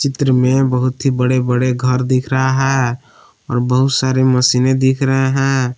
त्रि में बहुत ही बड़े बड़े घर दिख रहा है और बहुत सारी मशीनें दिख रहे हैं।